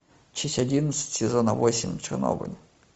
часть одиннадцать сезона восемь чернобыль